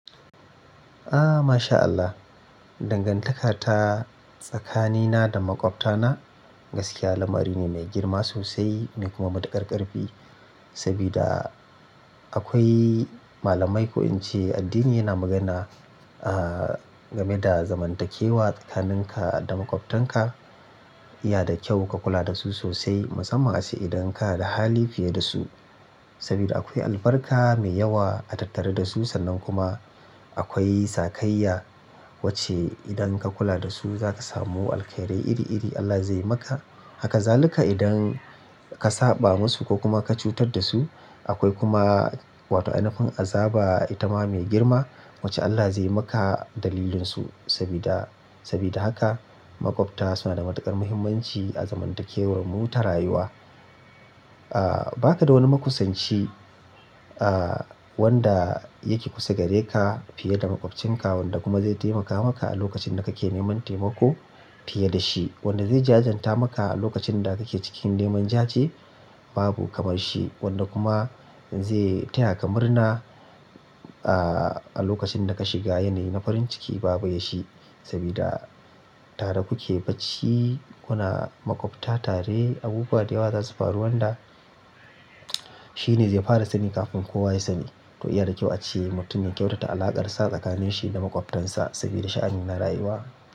Ah masha Allah. Dangantaka ta tsakanina da maƙwabtana gaskiya lamari ne mai girma sosai mai kuma matuƙar ƙarfi. Sabida akwai malamai ko in ce addini yana magana ah game da zamantakewa tsakaninka da makwabtanka. Ya da kyau ka kula da su sosai musamman ace idan ka da hali fiye da su. Saboda akwai albarka mai yawa a tattare da su sannan kuma akwai sakayya wacce idan ka kula da su zaka samu alkhairi iri iri Allah zai maka. Haka zaluka idan ka saɓa musu ko kuma ka cutar da su akwai kuma wato ainafin azaba itama mai girma wacce Allah zai maka dalilinsu. Sabida, sabida haka makwabta suna da matuƙar muhimmanci a zamantakewar mu ta rayuwa a. Ah baka da wani makusanchi ah wanda yake kusa gare ka fiye da makwabcinka wanda kuma zai taimaka maka a lokacin da kake neman taimako fiye da shi. Wanda zai jajanta maka a lokacin da kake cikin neman jaje babu kamar shi. Wanda kuma zai taya ka murna ah a lokacin da ka shiga yanayi na farin ciki babu ya shi. Sabida tare kuke bacci kuna maƙwabta tare abubuwa da yawa zasu faru wanda shine zai fara sani kafin kowa ya sani. To iya da kyau ace mutum ya kyautata alaƙarsa tsakanin shi da makwabtansa sabida sha'ani na rayuwa.